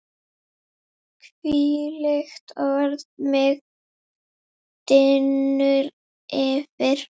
hvílíkt orð mig dynur yfir!